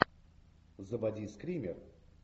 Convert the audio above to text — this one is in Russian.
заводи скример